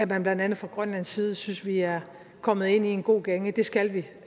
man blandt andet fra grønlands side synes at vi er kommet ind i en god gænge det skal vi